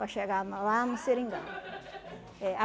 Para chegar na lá no seringal. É.